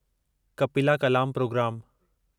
कपिला कलाम प्रोग्रामु